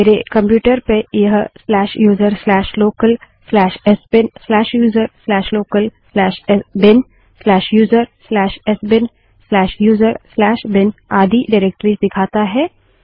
मेरे कंप्यूटर पर यह userlocalsbinuserlocalbinusersbinuserbin आदि निर्देशिकाएँडाइरेक्टरिस दिखाता है